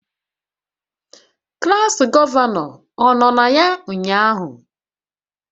Klas gọvanọ, ọ nọ ya ụnyahụ?